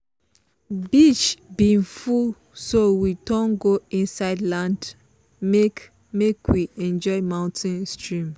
beach bin full so we turn go inside land make make we enjoy mountain stream.